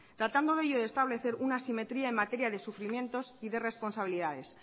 tratando de ello de establecer una simetría en materia de sufrimientos y de responsabilidades